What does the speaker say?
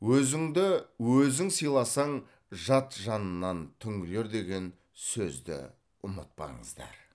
өзіңді өзің сыйласаң жат жанынан түңілер деген сөзді ұмытпаңыздар